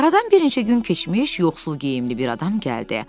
Aradan bir neçə gün keçmiş, yoxsul geyimli bir adam gəldi.